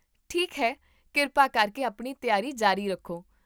ਠੀਕ ਹੈ, ਕਿਰਪਾ ਕਰਕੇ ਆਪਣੀ ਤਿਆਰੀ ਜਾਰੀ ਰੱਖੋ